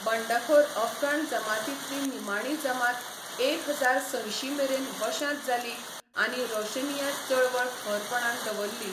बंडखोर अफगाण जमातींतली निमाणी जमात एक हजार संयशीं मेरेन वशांत जाली आनी रोशनिया चळवळ खरपणान दवरली.